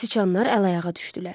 Siçanlar əl-ayağa düşdülər.